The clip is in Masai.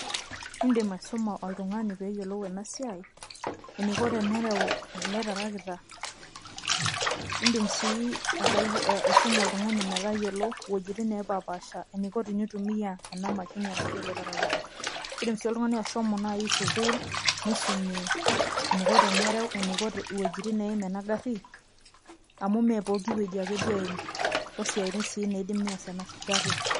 Idim aisuma oltung'ani peyiolou enasiai, eniko tenereu ele tarakita. Idim si aisuma oltung'ani metayiolo wuejiting nepapaasha eniko tenitumia ena mashini arashu ele tarakita. Kidim si oltung'ani ashomo nai sukuul, nisum eniko tenereu, wuejiting neim enagarri, amu mepoki wueji ake duo eim, osiaitin si neidim ness enagarri.